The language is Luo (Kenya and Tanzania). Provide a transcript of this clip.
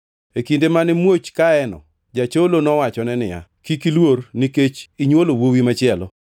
E kinde mane muoch kayeno, jacholo nowachone niya, “Kik iluor nikech inywolo wuowi machielo.”